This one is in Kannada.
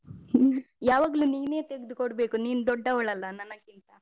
ter ಯಾವಾಗ್ಲೂ ನೀನೇ ತೆಗ್ದುಕೊಡ್ಬೇಕು ನೀನು ದೊಡ್ಡವಳಲ್ಲ ನನ್ಗಿಂತ.